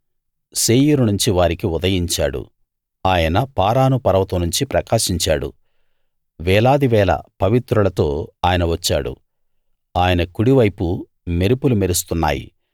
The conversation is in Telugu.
శేయీరు నుంచి వారికి ఉదయించాడు ఆయన పారాను పర్వతం నుంచి ప్రకాశించాడు వేలాది వేల పవిత్రులతో ఆయన వచ్చాడు ఆయన కుడివైపు మెరుపులు మెరుస్తున్నాయి